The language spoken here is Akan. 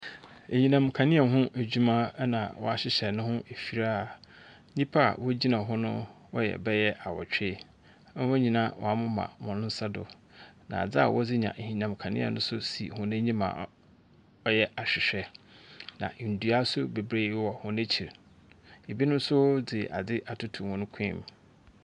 Anyinam kanea ho adwuma ɛna wa hyehyɛ no ho afirie a nnipa a ɔgyina ho no ɔyɛ bɛyɛ awotwe. Wɔn nyinaa wa mema wɔn nsa do na ade ɔde nya anyinam kanea so nso si wɔn anim a ɔyɛ ahwehwɛ. Na ndua so bebree wɔ wɔn akyiri, ɛbi no nso de ade atoto wɔn kɔn mu.